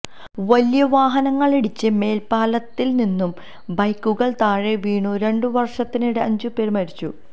വലിയ വാഹനങ്ങളിടിച്ച് മേൽപാലത്തിൽനിന്നു ബൈക്കുകൾ താഴെ വീണു രണ്ടു വർഷത്തിനിടെ അഞ്ചുപേർ മരിച്ചു